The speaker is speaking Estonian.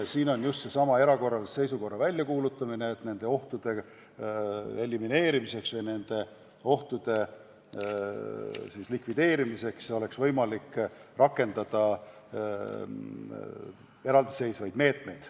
Siis on ehk vaja välja kuulutada erakorraline seisukord, et nende ohtude elimineerimiseks, nende ohtude likvideerimiseks oleks võimalik rakendada eraldiseisvaid meetmeid.